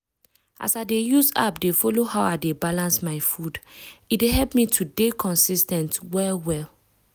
as i dey use app dey follow how i dey balance my food e dey help me to dey consis ten t well well.